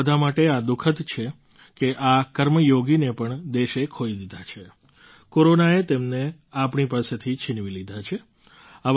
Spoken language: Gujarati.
આપણા બધા માટે આ દુઃખદ છે કે આ કર્મયોગીને પણ દેશે ખોઈ દીધા છે કોરોનાએ તેમને આપણી પાસેથી છિનવી લીધા છે